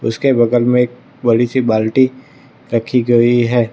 उसके बगल में एक बड़ी सी बाल्टी रखी गई है।